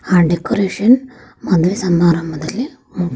ಆ ಡೆಕೋರೇಷನ್ ಮದ್ವೆ ಸಮರಾಂಭದಲ್ಲಿ ಮು--